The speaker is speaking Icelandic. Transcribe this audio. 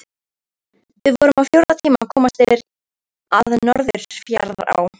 Við vorum á fjórða tíma að komast yfir að Norðfjarðará.